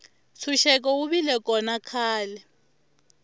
ntshuxeko wu vile kona khale